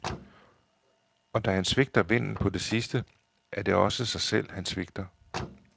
Og da han svigter vennen på det sidste, er det også sig selv, han svigter.